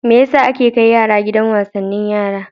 Me ya sa ake kai yara gidan wasanni na yara?